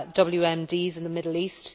all WMDs in the Middle East.